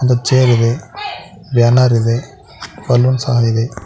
ದು ಚೇರ್ ಇದೆ ಬ್ಯಾನರ್ ಇದೆ ಬಲ್ಲೂನ್ ಸಹ ಇದೆ.